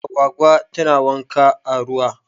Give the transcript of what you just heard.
Agwagwa tana wanka a ruwa